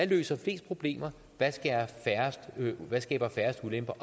løser flest problemer hvad der skaber færrest ulemper